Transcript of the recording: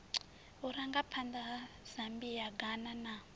vhurangaphanḓa ha zambia ghana na